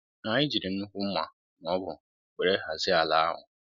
anyị jírí nnukwu mma na ọgụ wéré hazie ala ahụ